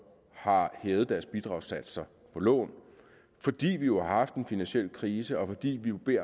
har hævet deres bidragssatser på lån fordi vi jo har haft en finansiel krise og fordi vi